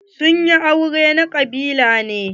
Sun yi aure na kabila ne.